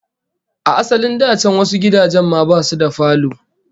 A asalin da can wasu gidajen ma basu da falo